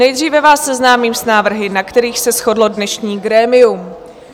Nejdříve vás seznámím s návrhy, na kterých se shodlo dnešní grémium.